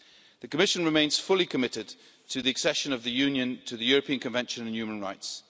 The Commission remains fully committed to the Union's accession to the European Convention on Human Rights.